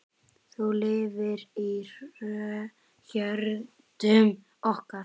Þú lifir í hjörtum okkar.